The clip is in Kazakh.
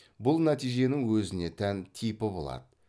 бұл нәтиженің өзіне тән типі болады